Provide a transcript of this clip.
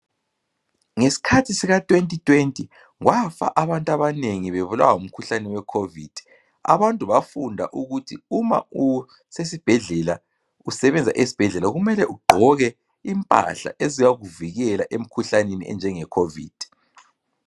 Nges'khathi sika 2020 kwafa abantu abanengi bebulawa ngumkhuhlane wecovid. Abantu bafunda ukuthi uma usesibhedlela, usebenza esibhedlela kumele ugqoke impahla eziyakuvikela emkhuhlaneni enjenge covid.